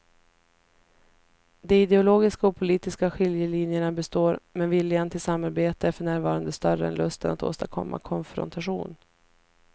De ideologiska och politiska skiljelinjerna består men viljan till samarbete är för närvarande större än lusten att åstadkomma konfrontation.